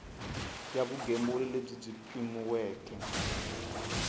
ya vugembuli lebyi byi pimiweke